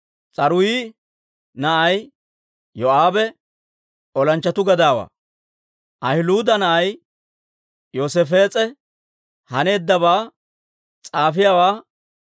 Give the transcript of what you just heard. S'aruuyi na'ay Yoo'aabe olanchchatuu gadaawaa; Ahiluuda na'ay Yoosaafees'e haneeddabaa s'aafiyaawaa.